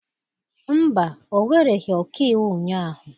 Mba, ọ wereghị ọkaiwu ụnyahụ